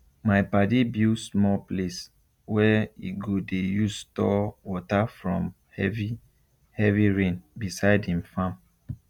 my padi build small place wey e go dey use store water from heavy heavy rain beside him farm